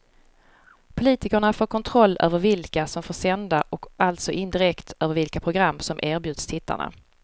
Politikerna får kontroll över vilka som får sända och alltså indirekt över vilka program som erbjuds tittarna.